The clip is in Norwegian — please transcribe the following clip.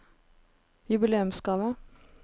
jubileumsgave